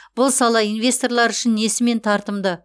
бұл сала инвесторлар үшін несімен тартымды